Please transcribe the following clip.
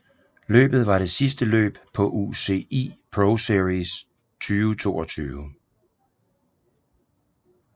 Løbet var det sidste løb på UCI ProSeries 2022